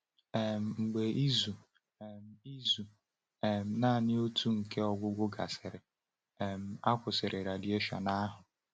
um Mgbe izu um izu um naanị otu nke ọgwụgwọ gasịrị, um a kwụsịrị radieshon ahụ.